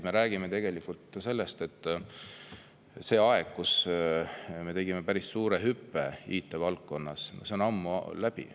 Me räägime sellest, et see aeg, kui me tegime päris suure hüppe IT-valdkonnas, on ammu läbi.